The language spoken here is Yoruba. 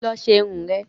Lọ ṣe irun ẹ̀!